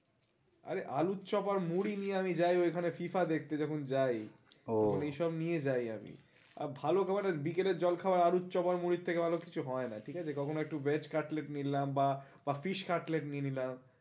আরে আলুর চপ আর মুড়ি নিয়ে আমি যাই ঐখানে FIFA দেখতে যখন যাই, আমি এই সব নিয়ে যাই আমি, ভালো বিকেলের জল খাবার আলুর চাপ আর মুড়ির থেকে ভালো কিছু হয় না ঠিক আছে, কখনো একটু veg কাটলেট নিলাম বা fish কাটলেট নিয়ে নিলাম